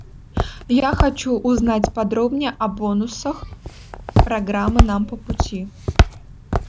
я хочу узнать подробнее о бонусах программы нам по пути